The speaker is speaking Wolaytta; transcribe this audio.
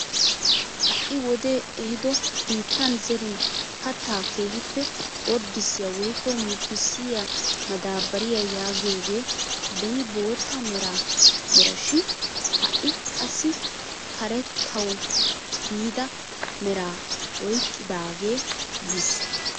Ha'i wodee ehido biittan zerin kattaa keehippe orddisiyaa woykko murutissiyaa madaabariyaa yaagiyoogee beni bootta mera shin ha'i qassi karettawu biida meraa oyqqidaagee yiis!